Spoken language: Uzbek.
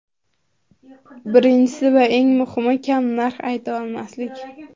Birinchisi va eng muhimi, kam narx aytsa olmaslik.